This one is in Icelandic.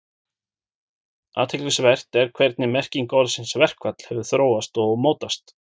Athyglisvert er hvernig merking orðsins verkfall hefur þróast og mótast.